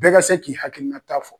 Bɛɛ ka se k'i hakilina ta fɔ.